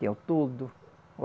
Tem o toldo.